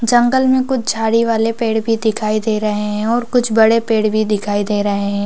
--जंगल में कुछ झाड़ी वाले पेड़ भी दिखाई दे रही है और कुछ बड़े पेड़ भी दिखाई दे रहे है।